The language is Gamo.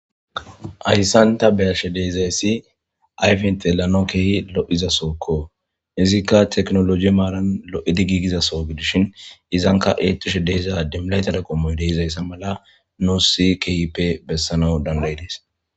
Ayssanta beyashe deezayssi ayfinte lano kehi lo7izasookko izikka teknoloji maaran lo7edi giigizaso gidishin izanka eettushe deeza dimlaytara qommoy deeizayssa mala noosi kehippe bessana dandaydees.